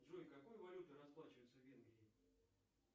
джой какой валютой расплачиваются в венгрии